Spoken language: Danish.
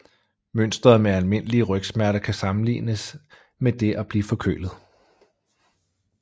Mønstret med almindelige rygsmerter kan sammenlignes med det at blive forkølet